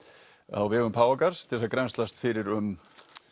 á vegum Páfagarðs til að grennslast fyrir um